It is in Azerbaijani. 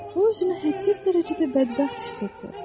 Bu özünü hədsiz dərəcədə bədbəxt hiss etdi.